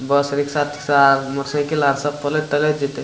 बस rickshaw सार motorcycle आर सब पलट-टलट जीतय।